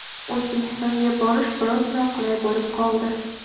O‘zbekistonga borish biroz noqulay bo‘lib qoldi.